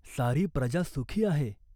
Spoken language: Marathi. सारी प्रजा सुखी आहे.